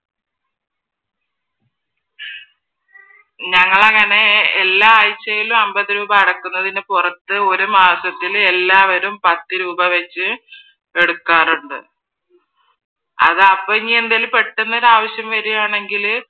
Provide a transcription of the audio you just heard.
ഞങ്ങൾ അങ്ങനെ എല്ലാ ആഴ്ചയിലും അൻപത് രൂപാ അടയ്ക്കുന്നതിന് പുറത്ത് ഒരു മാസത്തിൽ എല്ലാവരും പത്ത് രൂപാ വെച്ച് എടുക്കാറുണ്ട്. അതാ ഇപ്പൊ എന്തെങ്കിലും പെട്ടന്ന് ഒരാവിശ്യം വരുവാണെന്നുണ്ടെങ്കിൽ